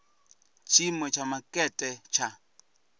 na tshiimo tsha makete tsha